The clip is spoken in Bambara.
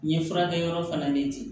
N ye furakɛ yɔrɔ fana ne di